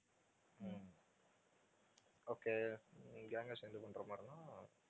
okay உம் உம் gang ஆ சேர்ந்து பண்ற மாதிரின்னா